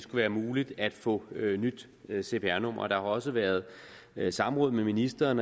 være muligt at få nyt cpr nummer der har også været samråd med ministeren